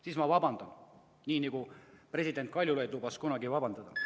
Siis ma vabandan, nii nagu president Kaljulaid lubas kunagi vabandada.